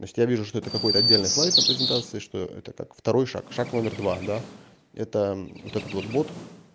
значит я вижу что это какой-то отдельный слайд на презентации что это так второй шаг шаг номер два да это вот этот вот бот